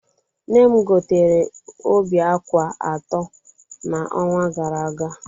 Nne m gotere óbì ákwà atọ n'ọnwa gara aga.